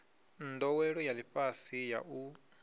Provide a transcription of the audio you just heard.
ndowelo ya lifhasi ya u